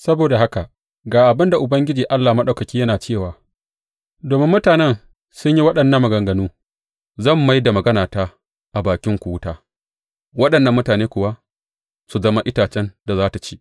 Saboda haka ga abin Ubangiji Allah Maɗaukaki yana cewa, Domin mutanen sun yi waɗannan maganganu, zan mai da maganata a bakinku wuta waɗannan mutane kuwa su zama itacen da za tă ci.